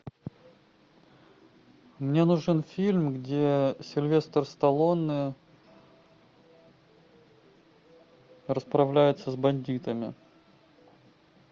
мне нужен фильм где сильвестр сталлоне расправляется с бандитами